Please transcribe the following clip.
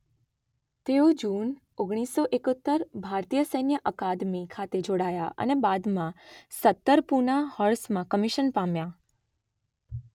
તેઓ જુન ઓગણીસ સો એકોતેર ભારતીય સૈન્ય અકાદમિ ખાતે જોડાયા અને બાદમાં સત્તર પૂના હોર્સમાં કમિશન પામ્યા